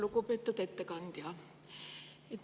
Lugupeetud ettekandja!